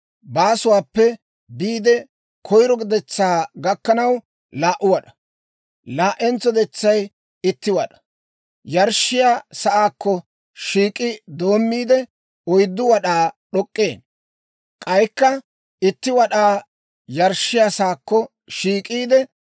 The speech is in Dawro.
Baasuwaappe biide, koyiro detsaa gakkanaw 2 wad'aa; laa"entso detsay itti wad'aa yarshshiyaa sa'aakko shiik'i doommiide, 4 wad'aa d'ok'k'ee; k'aykka itti wad'aa yarshshiyaa saakko shiik'iide,